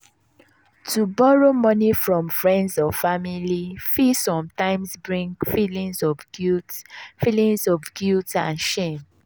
to borrow moni from friends or family fit sometimes bring feelings of guilt feelings of guilt and shame.